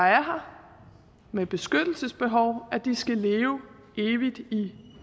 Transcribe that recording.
her med et beskyttelsesbehov at de skal leve evigt i